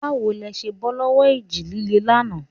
Báwo lẹ ṣe bọ́ lọ́wọ́ ìjì líle lánàá?